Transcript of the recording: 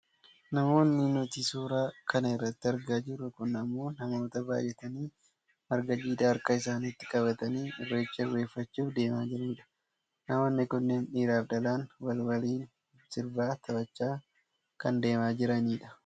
Namoonni nuti suuraa kana irratti argaa jirru kun ammoo namoota baayyatanii marga jiidhaa harka isaaniitti qabatanii irreecha irreeffachuuf deemaa jiranidha. Namoonni kunneen dhiraaf dhalaan wal waliin sirbaa taphachaa kan deemaa jiranidha.